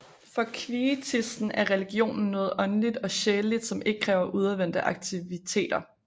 For kvietisten er religionen noget åndeligt og sjæleligt som ikke kræver udadvendte aktiviteter